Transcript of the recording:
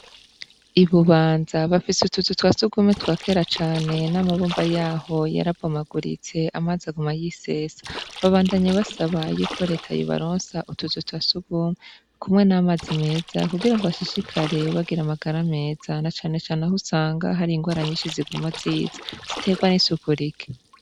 Ibubanza bafise utuzu twa sugumwe twakera cane n'amabumba yaho yarabomaguritse amazi aguma yisesa babandanya basaba yuko reta yobaronsa utuzu twasugumwe kumwe n'amazi meza kugirango bashishikare kugira amagara meza na cane cane aho usanga hari ingwara nyishi ziguma ziza ziterwa n'isuku rike.